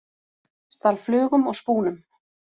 Stal flugum og spúnum